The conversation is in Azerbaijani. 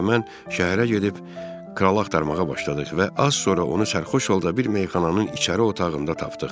Hersoqla mən şəhərə gedib kralı axtarmağa başladıq və az sonra onu sərxoş halda bir meyxananın içəri otağında tapdıq.